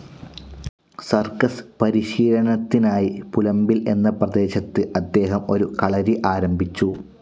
Circus പരിശീലനത്തിനായി പുലമ്പിൽ എന്ന പ്രദേശത്ത് അദ്ദേഹം ഒരു കളരി ആരംഭിച്ചു.